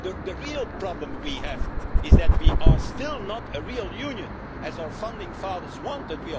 The real problem we have is that we are still not a real Union as our founding fathers wanted.